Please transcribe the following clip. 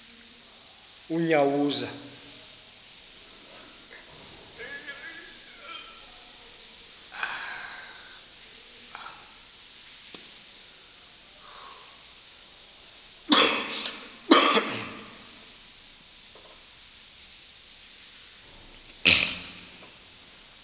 unyawuza